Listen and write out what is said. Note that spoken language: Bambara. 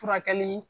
Furakɛli